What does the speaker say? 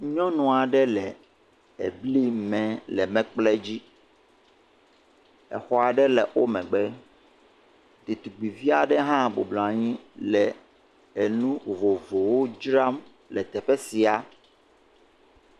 nyɔnua ɖe le abli mɛ lɛ mɛkpli dzi exɔa ɖe le wo megbe ɖetugbiviaɖe hã bubluanyi enu vovovowo dzra le teƒe sia